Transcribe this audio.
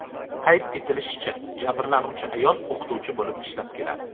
Qayd etilishicha, jabrlanuvchi ayol o‘qituvchi bo‘lib ishlab keladi.